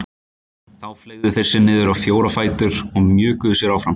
Þá fleygðu þeir sér niður á fjóra fætur og mjökuðu sér áfram.